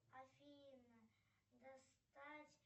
афина достать